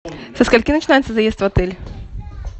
со скольки начинается заезд в отель